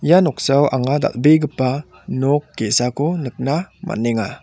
ia noksao anga dal·begipa nok ge·sako nikna man·enga.